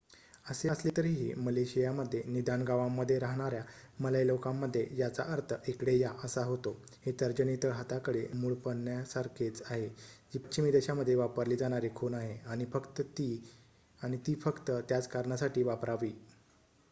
"असे असले तरीही मलेशियामध्ये निदान गावांमध्ये राहणाऱ्या मलय लोकांमध्ये याचा अर्थ "इकडे या" असा होतो हे तर्जनी तळहाताकडे मूडपण्यासारखेच आहे जी पश्चिमी देशांमध्ये वापरली जाणारी खूण आहे आणि ती फक्त त्याच कारणासाठी वापरावी.